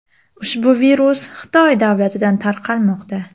Ushbu virus Xitoy davlatidan tarqalmoqda.